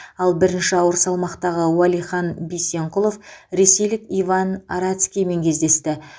ал бірінші ауыр салмақтағы уәлихан бисенқұлов ресейлік иван арацкиймен кездесті